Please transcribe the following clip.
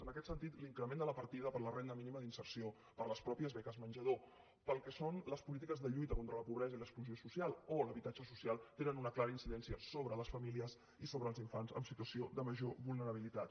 en aquest sentit l’increment de la partida per a la renda mínima d’inserció per a les mateixes beques menjador per al que són les polítiques de lluita contra la pobresa i l’exclusió social o l’habitatge social té una clara incidència sobre les famílies i sobre els infants en situació de major vulnerabilitat